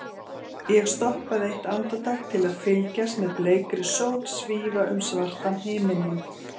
Ég stoppaði eitt andartak til að fylgjast með bleikri sól svífa um svartan himininn.